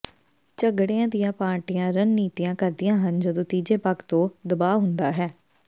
ਝਗੜਿਆਂ ਦੀਆਂ ਪਾਰਟੀਆਂ ਰਣਨੀਤੀਆਂ ਕਰਦੀਆਂ ਹਨ ਜਦੋਂ ਤੀਜੇ ਪੱਖ ਤੋਂ ਦਬਾਅ ਹੁੰਦਾ ਹੈ